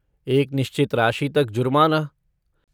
एक निश्चित राशि तक जुर्माना।